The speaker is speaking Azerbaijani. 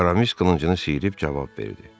Aramis qılıncını sıyırıb cavab verdi.